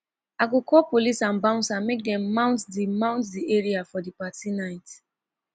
i go call police and bouncer make dem mount di mount di area for di party night